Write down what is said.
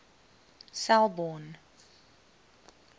selborne